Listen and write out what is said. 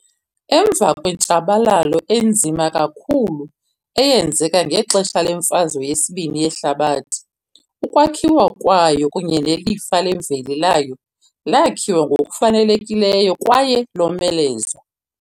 Emva kwentshabalalo enzima kakhulu eyenzeka ngexesha leMfazwe yesibini yeHlabathi, ukwakhiwa kwayo kunye nelifa lemveli layo lakhiwa ngokufanelekileyo kwaye lomelezwa.